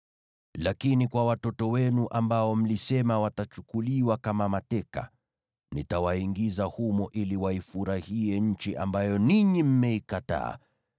Lakini watoto wenu ambao mlisema watachukuliwa kama mateka, nitawaingiza humo ili waifurahie nchi ambayo ninyi mmeikataa.